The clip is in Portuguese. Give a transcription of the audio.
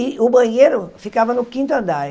E o banheiro ficava no quinto andar.